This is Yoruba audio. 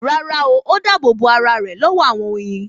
Rárá o, ó dáàbò bo ara rẹ̀ lọ́wọ́ àwọn oyin